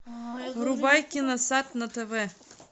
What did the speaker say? врубай киносад на тв